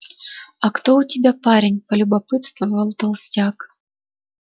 а кто у тебя парень полюбопытствовал толстяк